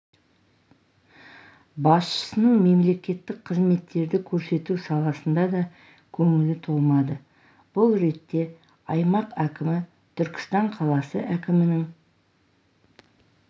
басшысының мемлекеттік қызметтерді көрсету саласына да көңілі толмады бұл ретте аймақ әкімі түркістан қаласы әкімінің